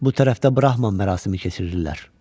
Bu tərəfdə Brahman mərasimi keçirirlər.